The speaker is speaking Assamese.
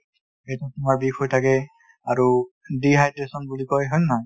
পেটটো তোমাৰ বিষ হৈ থাকে আৰু dehydration বুলি কয় , হয় নে নহয় ?